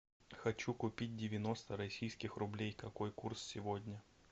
хочу купить девяносто российских рублей какой курс сегодня